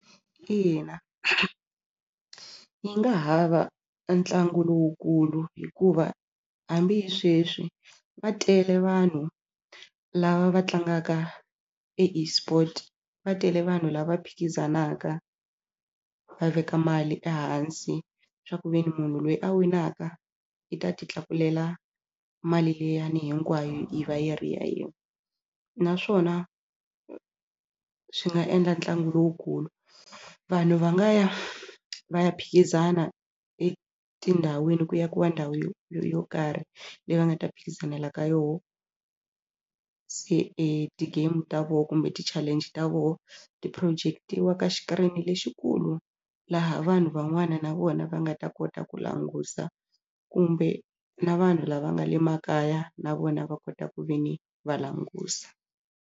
Ina yi nga ha va ntlangu lowukulu hikuva hambi hi sweswi va tele vanhu lava va tlangaka e eSport va tele vanhu lava phikizanaka va veka mali ehansi swa ku ve ni munhu loyi a winaka i ta titlakulela mali liyani hinkwayo yi va yi ri yena naswona swi nga endla ntlangu lowukulu vanhu va nga ya va ya phikizana etindhawini ku akiwa ndhawu yo yo karhi leyi va nga ta phikizanela ka yona se e ti-game ta voho kumbe ti-challenge ta vona ti-project-iwa ka xikirini lexikulu laha vanhu van'wana na vona va nga ta kota ku languta kumbe na vanhu lava nga le makaya na vona va kota ku ve ni va languta.